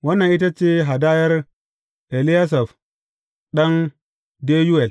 Wannan ita ce hadayar Eliyasaf ɗan Deyuwel.